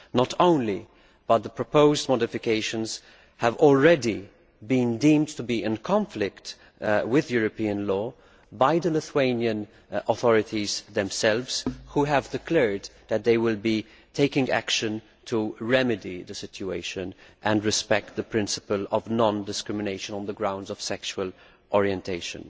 Not only that, but the proposed modifications have already been deemed to be in conflict with European law by the Lithuanian authorities themselves, who have declared that they will be taking action to remedy the situation and to respect the principle of non discrimination on the grounds of sexual orientation.